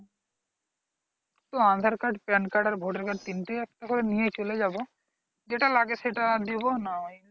তো aadhaar card pan card আর voter card তিনটেই একবারে নিয়ে চলে যাব, যেটা লাগে সেটা দেব না হয়,